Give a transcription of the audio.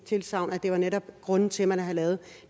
tilsagn at det netop grunden til at man havde lavet